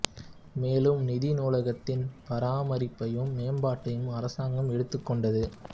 மேலும் நிதி நூலகத்தின் பராமரிப்பையும் மேம்பாட்டையும் அரசாங்கம் எடுத்துக் கொண்டது